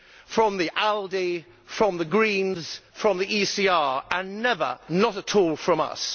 from the ALDE, from the Greens, from the ECR and never, not at all, from us.